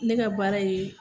Ne ka baara ye